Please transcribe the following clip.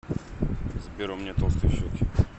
сбер у меня толстые щеки